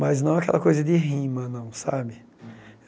Mas não aquela coisa de rima, não, sabe?